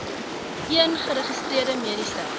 een geregistreerde mediese